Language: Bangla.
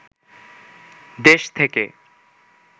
দেশ থেকে